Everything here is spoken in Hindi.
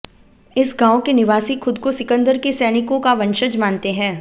इस गांव के निवासी खुद को सिकंदर के सैनिकों का वंशज मानते हैं